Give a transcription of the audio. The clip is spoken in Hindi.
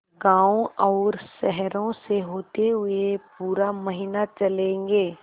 गाँवों और शहरों से होते हुए पूरा महीना चलेंगे